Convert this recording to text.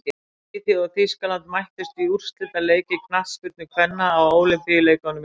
Svíþjóð og Þýskaland mættust í úrslitaleik í knattspyrnu kvenna á Ólympíuleikunum í kvöld.